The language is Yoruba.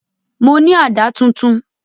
Mo ní àdá tuntun